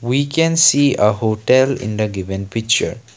we can see a hotel in the given picture.